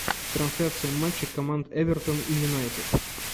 трансляция матча команд эвертон и юнайтед